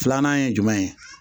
Filanan ye jumɛn ye